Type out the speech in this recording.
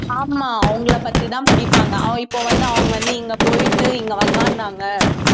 ஆமாம் அவங்களை பத்திதான் படிப்பாங்க அஹ் இப்ப வந்து அவங்க வந்து இங்க போயிட்டு இங்க உட்கார்ந்தாங்க